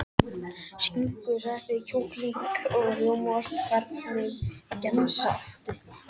Skinku sveppi kjúkling og rjómaost Hvernig gemsa áttu?